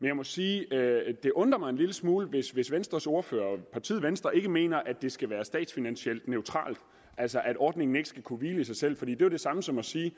jeg må sige at det undrer mig en lille smule hvis hvis venstres ordfører og partiet venstre ikke mener at det skal være statsfinansielt neutralt altså at ordningen ikke skal kunne hvile i sig selv for det er jo det samme som at sige